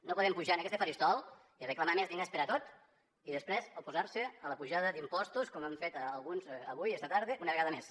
no podem pujar a aquest faristol i reclamar més diners per a tot i després oposar se a l’apujada d’impostos com han fet alguns avui esta tarda una vegada més